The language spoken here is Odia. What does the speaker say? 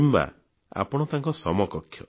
କିମ୍ବା ଆପଣ ତାଙ୍କ ସମକକ୍ଷ